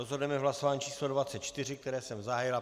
Rozhodneme hlasováním číslo 24, které jsem zahájil.